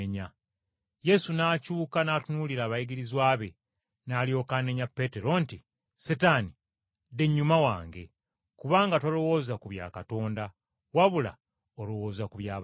Yesu n’akyuka n’atunuulira abayigirizwa be, n’alyoka anenya Peetero nti, “Setaani dda ennyuma wange, kubanga tolowooza ku bya Katonda wabula olowooza ku by’abantu.”